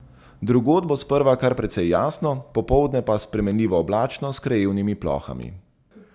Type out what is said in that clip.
Drugod bo sprva kar precej jasno, popoldne pa spremenljivo oblačno s krajevnimi plohami.